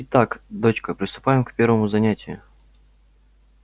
итак дочка приступаем к первому занятию